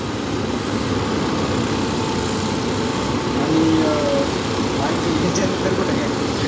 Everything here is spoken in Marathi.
आणि अं आणखीन त्याच्या नंतर कुठे गेलते?